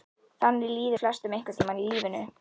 Þannig líður flestum einhvern tíma í lífinu.